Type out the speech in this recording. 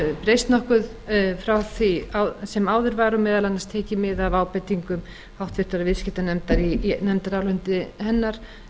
breyst nokkuð frá því sem áður var meðal annars var tekið mið af ábendingum háttvirtur viðskiptanefndar í nefndaráliti hennar